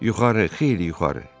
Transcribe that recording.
Yuxarı, xeyli yuxarı.